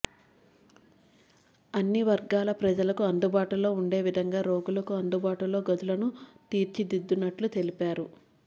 అన్నివర్గాల ప్రజలకు అందుబాటులో ఉండేవిధంగా రోగులకు అందుబాటులో గదులను తీర్చిదిద్దునట్లు తెలిపారు